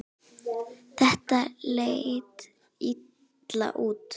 Þetta leit illa út.